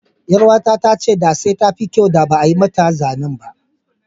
Ƴaruwata ta ce da sai tafi kyau da ba'a mata zanen ba.